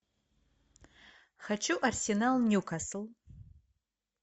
хочу арсенал ньюкасл